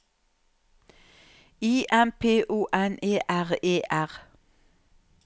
I M P O N E R E R